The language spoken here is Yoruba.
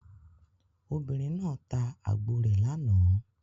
Obìnrin náà ta àgbò rẹ̀ lánàá.